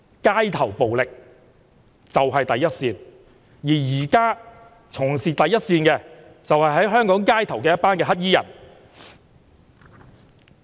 街頭暴力是第一線，而現在從事第一線的，便是香港街頭的黑衣人。